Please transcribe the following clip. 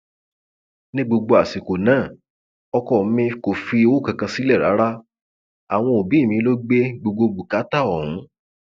ní gbogbo àsìkò náà ọkọ mi kò fi owó kankan sílẹ rárá àwọn òbí mi lọ gbé gbogbo bùkátà ọhún